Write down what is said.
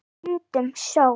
En stundum sól.